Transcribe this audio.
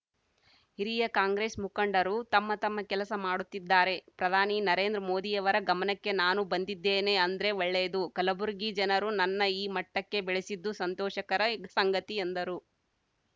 ಹಿರಿಯ ಕಾಂಗ್ರೆಸ್‌ ಮುಖಂಡರು ತಮ್ಮ ತಮ್ಮ ಕೆಲಸ ಮಾಡುತ್ತಿದ್ದಾರೆ ಪ್ರಧಾನಿ ನರೇಂದ್ರ ಮೋದಿಯವರ ಗಮನಕ್ಕೆ ನಾನು ಬಂದಿದ್ದೇನೆ ಅಂದ್ರೆ ಒಳ್ಳೆಯದು ಕಲಬುರಗಿ ಜನರು ನನ್ನ ಈ ಮಟ್ಟಕ್ಕೆ ಬೆಳೆಸಿದ್ದು ಸಂತೋಷಕರ ಸಂಗತಿ ಎಂದರು